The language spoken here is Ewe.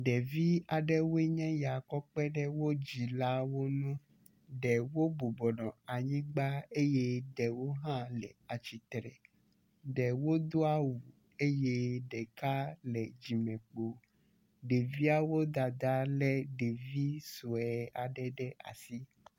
Ɖevi aɖewoe nye ya kɔ kpeɖe wo dzilawo ŋu, ɖewo bɔbɔ nɔ anyigbe eye ɖewo hã le atsitre, ɖewo do awu eye ɖeka le dzime kpo. Ɖeviawo dada le ɖevi sue aɖe ɖe asi